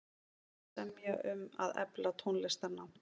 Semja um að efla tónlistarnám